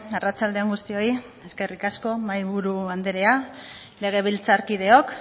arratsalde on guztioi eskerrik asko mahaiburu andrea legebiltzarkideok